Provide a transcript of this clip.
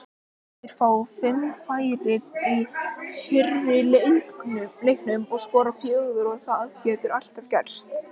Þeir fá fimm færi í fyrri leiknum og skora fjögur og það getur alltaf gerst.